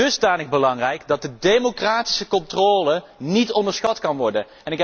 Dusdanig belangrijk, dat de democratische controle niet onderschat kan worden.